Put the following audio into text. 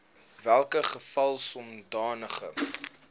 welke geval sodanige